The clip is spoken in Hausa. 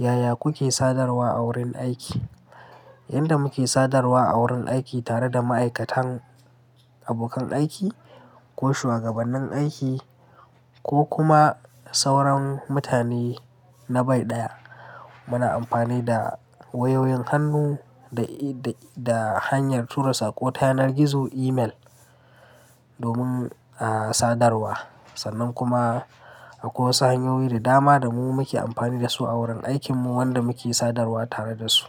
Yaya kuke sadarwa a wurin aiki? Yanda muke sadarwa a wurin aiki tare da ma'aikatan abokan aiki ko shugabannin aiki, ko kuma sauran mutane na bai ɗaya, muna amfani da wayoyin hannu da hanyar tura sako ta yanar gizo email domin sadarwa, sannan kuma akwai sanyoyi da dama da muke amfani da su a wurin aikinmu wanda muke sadarwa tare da su.